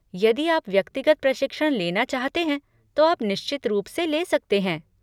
यदि आप व्यक्तिगत प्रशिक्षण लेना चाहते हैं, तो आप निश्चित रूप से ले सकते हैं।